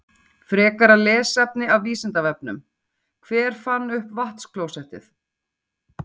Frekara lesefni af Vísindavefnum: Hver fann upp vatnsklósettið?